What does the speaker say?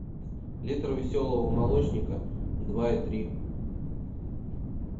литр веселого молочника два и три